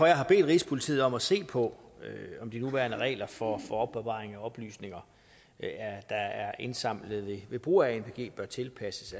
jeg har bedt rigspolitiet om at se på om de nuværende regler for opbevaring af oplysninger der er indsamlet ved brug af anpg bør tilpasses